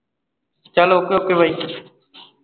ਚੱਲ okay okay ਬਈ